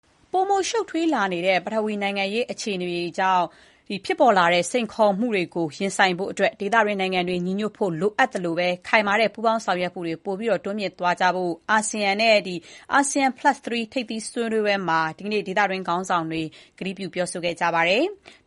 ပိုမို ရှုပ်ထွေးလာတဲ့ ပထဝီနိုင်ငံရေး အခြေအနေတွေကနေ ဖြစ်ပေါ်လာတဲ့ စိန်ခေါ်မှုတွေကို ရင်ဆိုင်ဖို့ ဒေသတွင်း နိုင်ငံတွေ ညီညွတ်ဖို့ အရေးကြီးသလို၊ ခိုင်မာတဲ့ ပူးပေါင်း ဆောင်ရွက်မှုတွေ တိုးမြှင့်သွားကြဖို့ ဒီကနေ့ ASEAN Plus Three ထိပ်သီးဆွေးနွေးပွဲမှာ အာဆီယံနဲ့ ဒေသတွင်း ခေါင်းဆောင်တွေ ကတိပြုခဲ့ကြပါတယ်။